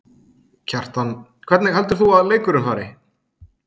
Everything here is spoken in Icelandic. Kjartan: Hvernig heldur þú að leikurinn fari?